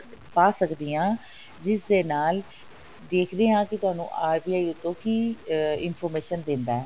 ਪਾ ਸਕਦੀ ਹਾਂ ਜਿਸ ਦੇ ਨਾਲ ਦੇਖਦੇ ਹਾਂ ਕਿ ਤੁਹਾਨੂੰ RBI ਅੱਗੋ ਕਿ information ਦਿੰਦਾ ਹੈ